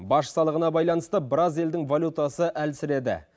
баж салығына байланысты біраз елдің валютасы әлсіреді